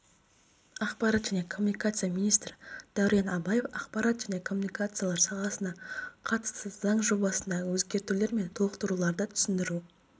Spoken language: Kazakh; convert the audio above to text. ақпарат және коммуникация министрідәурен абаев ақпарат және коммуникациялар саласына қатысты заң жобасындағы өзгертулер мен толықтыруларды түсіндіру